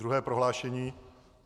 Druhé prohlášení.